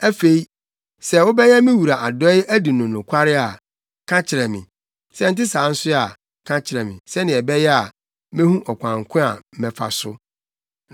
Afei, sɛ wobɛyɛ me wura adɔe adi no nokware a, ka kyerɛ me. Sɛ ɛnte saa nso a, ka kyerɛ me, sɛnea ɛbɛyɛ a, mehu ɔkwan ko a mɛfa so.”